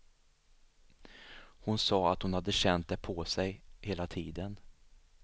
Hon sa att hon hade känt det på sig hela tiden.